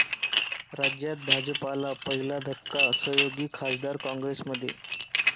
राज्यात भाजपला पहिला धक्का, सहयोगी खासदार काँग्रेसमध्ये